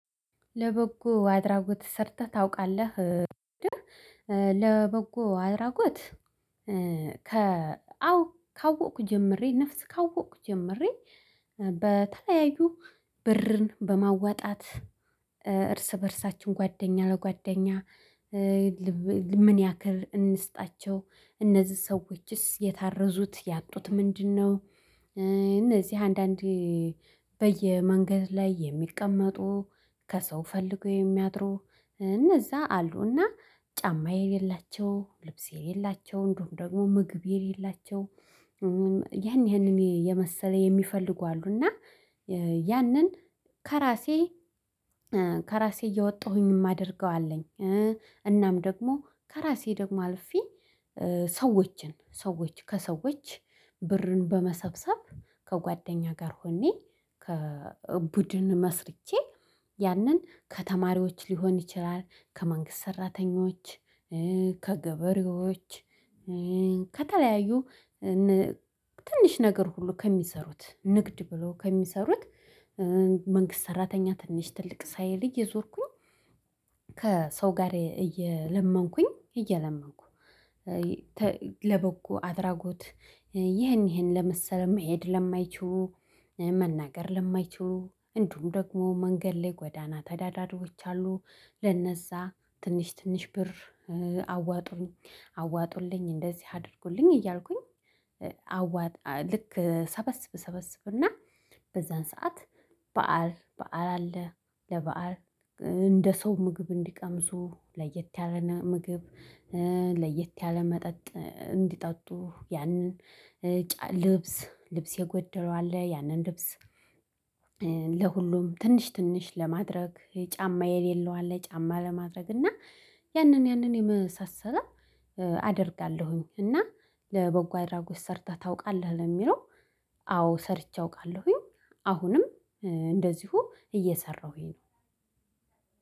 ለበጎ አድራጎት ሰርተህ ታውቃለህ? ለበጎ አድራጎት? አዎ ካወኩ ጀምሬ ነፍስ ካወኩ ጀምሬ በተለያዩ ብርን በማዋጣት እርስ በእርሳችን ጓደኛ ለጓደኛ። ምን ያክል እንስጣቸው እነዚህ ሰዎችስ የታረዙት ያጡት ምንድነው? እነዚህ አንዳንዴ በየመንገድ ላይ የሚቀመጡ ከሰው ፈልገው የሚያድሩ እነዛ አሉና ጫማ የሌላቸው ልብስ የሌላቸው እንዲሁም ደግሞ ምግብ የሌላቸው። ያን ያንን የመሰለ የሚፈልጉ አሉ እና ያንን ከራሴ ከራሴ እያወጣሁኝ እማደርገው አለኝ። እናም ደግሞ ከራሴ ደግሞ አልፌ ሰዎችን ሰዎች ከሰዎች ብርን በመሰብሰብ ከጓደኛ ጋር ሆኜ። ቡድን መስርቼ ያንን ከተማሪዎች ሊሆን ይችላል ከመንግስት ሰራተኞች። ከገበሬዎች ከተለያዩ ትንሽ ነገር ሁሉ ከሚሰሩት ንግድ ብሎ ከሚሰሩት ሰራተኛ ትንሽ ትልቅ ሳይል እየዞርኩኝ ከሰው ጋር እየለመንኩኝ እየለመንኩ። ለበጎ አድራጎት ይህን ይህን ለመሰሉ መሄድ ለማይችሉ መናገር ለማይችሉ እንዲሁም ደግሞ መንገድ ላይ ጎዳና ተዳዳሪዎች አሉ ለነዛ ትንሽ ትንሽ ብር አዋጡኝ አዋጡልኝ እንደዚህ አድርጉልኝ እያልኩኝ። አዋጣ ልክ እሰበስብ እሰበስብ እና በዛን ሰዓት በዓል በዓል አለ ለበአል እንደ ሰው ምግብ እንዲቀምሱ ለየት ያለ ምግብ። ለየት ያለ መጠጥ እንዲጠጡ ያንን ልብስ ልብስ የጎደለው አለ ያንን ልብስ። ለሁሉም ትንሽ ትንሽ ለማድረግ ጫማ የሌለው አለ ጫማ ለማድረግ እና ያንን ያንን የመሳሰለ አደርጋለሁኝ። እና ለበጎ አድራጎት ሰርተህ ታውቃለህ? ለሚለው አዎ ሰርቼ አውቃለሁኝ። አሁንም እንደዚሁ እየሰራሁኝ ነው።